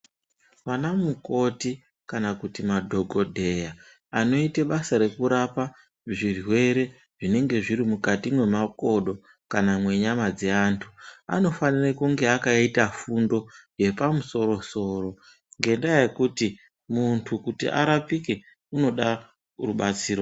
Vanamukoti kana kuti madhokodheya, anoite basa rekurapa zvirwere zvinenge zviri mukati mwemakodo kana mwenyama dzeantu, anofanire kunge akaita fundo yepamusoro-soro, ngendaa yekuti ,muntu kuti arapike, unoda rubatsiro.